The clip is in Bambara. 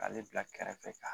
K'ale bila kɛrɛfɛ ka